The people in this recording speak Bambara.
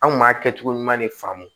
An kun b'a kɛcogo ɲuman de faamu